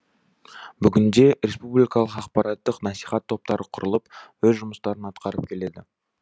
бүгінде республикалық ақпараттық насихат топтары құрылып өз жұмыстарын атқарып келеді